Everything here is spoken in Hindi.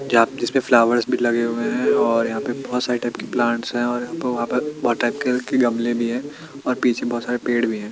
जाप जिसपे फ्लावर्स भी लगे हुए है और यहाँ पर बहोत सारे टाइप के प्लांट्स है और यहाँं पर वहाँं पर बहोत टाइप के कलर के गमले भी हैं और पीछे बोहोत सारे पेड़ भी हैं।